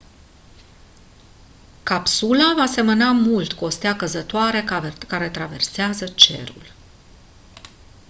capsula va semăna mult cu o stea căzătoare care traversează cerul